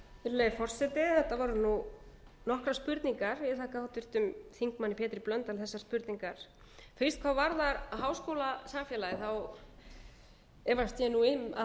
virðulegi forseti þetta voru nú nokkrar spurningar ég þakka háttvirtum þingmanni pétri blöndal þessar spurningar fyrst hvað varðar háskólasamfélagið efast ég nú um að það